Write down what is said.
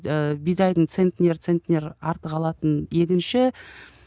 ііі бидайдың центнер центнер артық алатын егінші